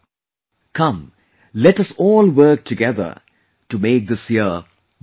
Come, let us all work together to make this year meaningful